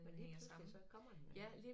Men lige pludselig så kommer det